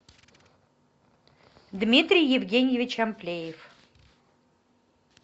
дмитрий евгеньевич амплеев